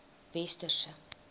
westerse